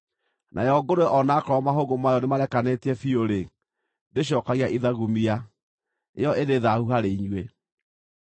Nayo ngũrwe o na akorwo mahũngũ mayo nĩmarekanĩtie biũ-rĩ, ndĩcookagia ithagumia; ĩyo ĩrĩ thaahu harĩ inyuĩ.